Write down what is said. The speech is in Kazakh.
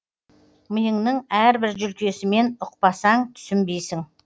миыңның әрбір жүлкесімен ұқпасаң түсінбейсің